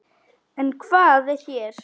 En hvað er hér?